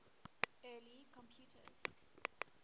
early computers